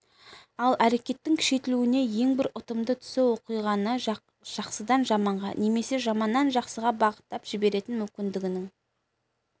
ал әрекеттің күшейтілуінің ең бір ұтымды тұсы оқиғаны жақсыдан жаманға немесе жаманнан жақсыға бағыттап жіберетін мүмкіндігінің